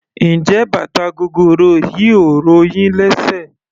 Njé bàtà gogoro yìí ò ro yín lésè?